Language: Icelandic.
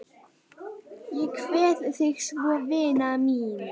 Ég kveð þig svo vina mín.